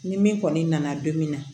Ni min kɔni nana don min na